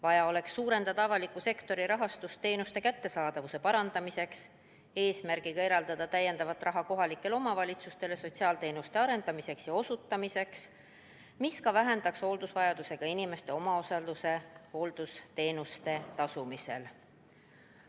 Vaja oleks suurendada avaliku sektori rahastust teenuste kättesaadavuse parandamiseks, eesmärgiga eraldada lisaraha kohalikele omavalitsustele sotsiaalteenuste arendamiseks ja osutamiseks, mis vähendaks ka hooldusvajadusega inimeste omaosalust hooldusteenuste eest tasumisel.